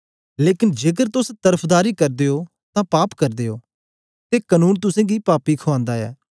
लेकन जेकर तोस तरफदारी करदे ओ तां पाप करदे ओ ते कनून तुसेंगी पापी खुआन्दा ऐ